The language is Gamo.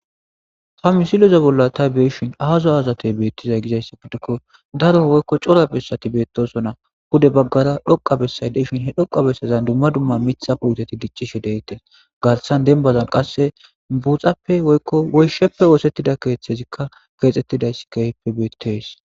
ta misiloza bolla ta beeshin aazo azatey beettizay gizayssi guddikko daro woykko cora bessati beettosona hude baggara dhoqa besay deshin he dhoqa bessezan dumma dumma mitha puteti dicchishe deettees garsan dembazan qasse buuxappe woykko woysheppe oosettida keethethezikka keexxettidayss keyppe beetees